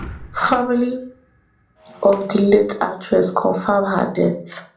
family of di late actress confam her death